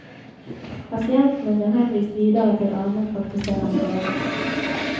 Pasientene blir henvist videre til almenpraktiserende leger.